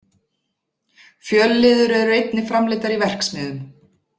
Fjölliður eru einnig framleiddar í verksmiðjum.